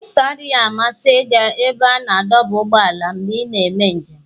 Esther adịghị amasị ịga ebe a na-adọba ụgbọala mgbe ị na-eme njem.